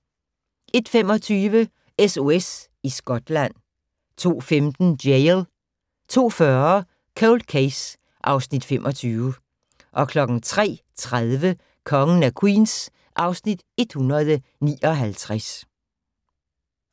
01:25: SOS i Skotland 02:15: Jail 02:40: Cold Case (Afs. 25) 03:30: Kongen af Queens (Afs. 159)